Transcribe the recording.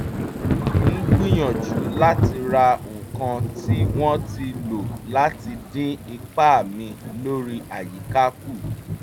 mo ń gbìyànjú láti ra nǹkan tí wọ́n ti lò láti dín ipa mi lórí àyíká kù